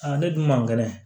ne dun man kɛnɛ